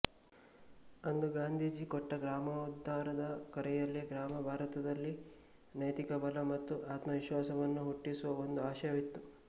ಅಂದು ಗಾಂಧೀಜಿ ಕೊಟ್ಟ ಗ್ರಾಮೋದ್ಧಾರದ ಕರೆಯಲ್ಲಿ ಗ್ರಾಮ ಭಾರತದಲ್ಲಿ ನೈತಿಕ ಬಲ ಮತ್ತು ಆತ್ಮವಿಶ್ವಾಸವನ್ನು ಹುಟ್ಟಿಸುವ ಒಂದು ಆಶಯವಿತ್ತು